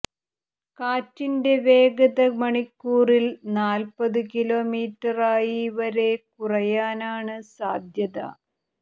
കാറ്റിൻ്റെ വേഗത മണിക്കൂറിൽ നാൽപ്പത് കിലോമീറ്ററായി വരെ കുറയാനാണ് സാധ്യത